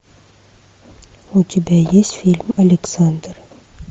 у тебя есть фильм александр